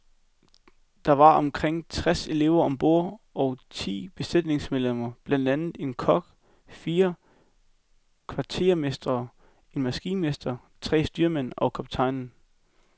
Der var omkring treds elever om bord og ti besætningsmedlemmer blandt andre en kok, fire kvartermestre, en maskinmester, tre styrmænd og kaptajnen.